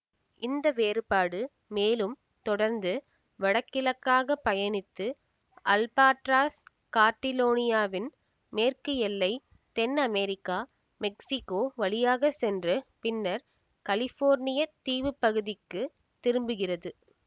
இந்த வேறுபாடு மேலும் தொடர்ந்து வடகிழக்காக பயணித்து அல்பாட்ராஸ் கார்டிரேல்லாவின் மேற்கு எல்லை தென் அமேரிக்கா மெக்ஸிகோ வழியாக சென்று பின்னர் கலிபோர்னியத் தீவுப்பகுதிக்கு திரும்புகிறது